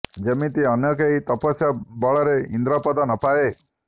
ଯେମିତି ଅନ୍ୟ କେହି ତପସ୍ୟା ବଳରେ ଇନ୍ଦ୍ରପଦ ନ ପାଏ